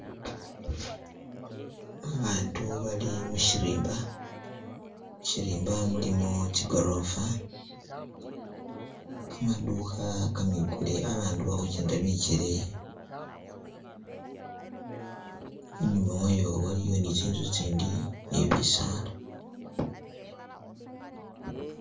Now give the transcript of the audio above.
Abantu bali mushirimba, shirimba mulimo tsigorofa, kamadukha kamikule, abandu bali khugendela bigele, inyuma wayo waliyo ni tsinzu tsindi ni bisaala.